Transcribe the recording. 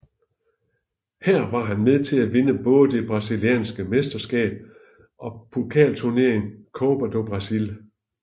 Her var han med til at vinde både det brasilianske mesterskab og pokalturneringen Copa do Brasil